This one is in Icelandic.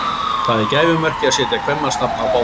Það er gæfumerki að setja kvenmannsnafn á báta.